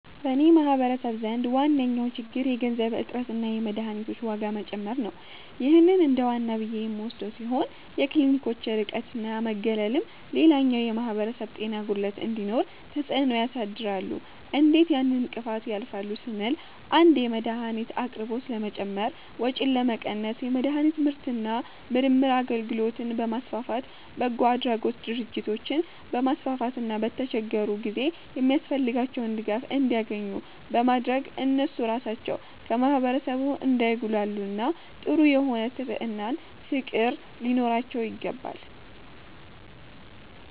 በኔ ማህበረሰብ ዘንድ ዋነኛዉ ችግር የገንዘብ እጥረትና የመድሀኒቶች ዋጋ መጨመር ነዉ ይህ እንደዋና ብዬ የምወስደዉ ሲሆን የክሊኒኮች ርቀትና መገለልም ሌላኛዉ የማህበረሰብ ጤና ጉድለት እንዲኖር ተፅእኖ ያሳድራሉ እንዴት ያን እንቅፋት ያልፋሉ ስንል 1)የመድሀኒት አቅርቦት ለመጨመር ወጪን ለመቀነስ የመድሀኒት ምርትና ምርምር አገልግሎትን በማስፋፋት፣ በጎአድራጎት ድርጅቶችን በማስፋፋትና በተቸገሩ ጊዜ የሚያስፈልጋቸዉን ድጋፍ እንዲያኙ ኙ በማድረግ እነሱ ራሳቸዉ ከማህበረሰቡ እንዳይጉላሉና ጥሩ የሆነ ስብዕናና ፍቅር ሊኖራቸዉ ይገባል።